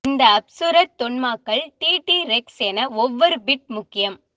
இந்த அப்சுரர் தொன்மாக்கள் T T rex என ஒவ்வொரு பிட் முக்கியம்